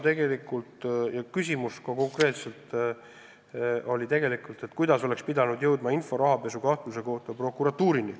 Üks konkreetne küsimus oli, kuidas oleks pidanud jõudma info rahapesukahtluse kohta prokuratuurini.